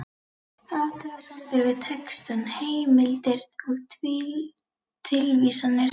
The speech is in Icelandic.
Athugasemdir við texta, heimildir og tilvísanir